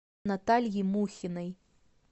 наталье мухиной